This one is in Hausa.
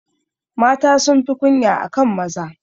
Mata sunfi kunya akan maza.